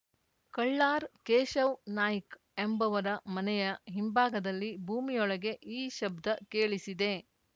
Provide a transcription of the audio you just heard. ಕಳ್ಳಾರ್‌ ಕೇಶವ್ ನಾಯ್ಕ ಎಂಬವರ ಮನೆಯ ಹಿಂಭಾಗದಲ್ಲಿ ಭೂಮಿಯೊಳಗೆ ಈ ಶಬ್ದ ಕೇಳಿಸಿದೆ